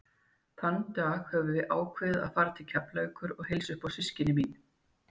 Þann dag höfðum við ákveðið að fara til Keflavíkur og heilsa upp á systkini mín.